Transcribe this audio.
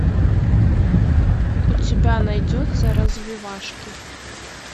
у тебя найдется развивашки